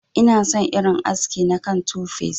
Ina son irin haski na kan 2face.